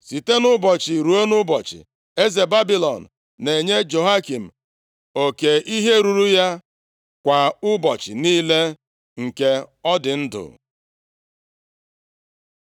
Site nʼụbọchị ruo nʼụbọchị, eze Babilọn na-enye Jehoiakin oke ihe ruru ya kwa ụbọchị niile nke ọ dị ndụ.